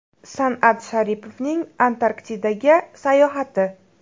San’at Sharipovning Antarktidaga sayohati.